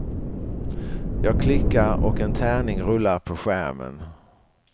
Jag klickar och en tärning rullar på skärmen.